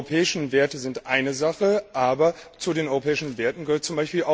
Die europäischen Werte sind eine Sache, aber zu den europäischen Werten gehört z.